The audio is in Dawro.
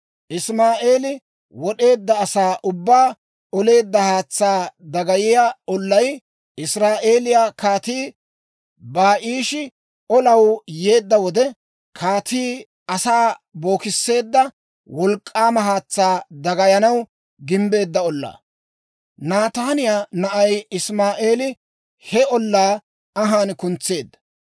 Isimaa'eeli wod'eedda asaa ubbaa oleedda haatsaa dagayiyaa ollay, Israa'eeliyaa kaatii Baa'ishi olanaw yeedda wode, Kaatii Asaa bookisseedda wolk'k'aama haatsaa dagayanaw gimbbeedda ollaa. Nataaniyaa na'ay Isimaa'eeli he ollaa anhaan kuntseedda.